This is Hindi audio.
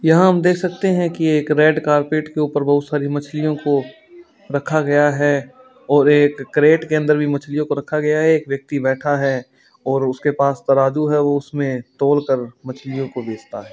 यहाँ हम देख सकते हैं कि एक रेड कारपेट के ऊपर बहुत सारी मछलियों को रखा गया है और एक क्रेट के अंदर भी मछलियों को रखा गया है एक व्यक्ति बैठा है और उसके पास तराजू है उसमें तोल कर मछलियों को बेचता है।